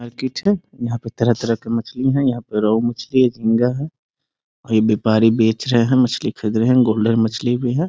market है| यहां पर तरह-तरह की मछली है | यहां पर रो मछली झींगा है | कोई व्यापारी बेच रहे है|मछली खरीद रहे हैं | गोल्डन मछली भी है |